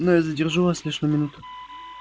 но я задержу вас лишь на минуту